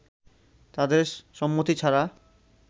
তাদের সম্মতি ছাড়া